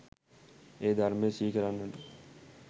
ඒ ධර්මය සිහි කරන්නට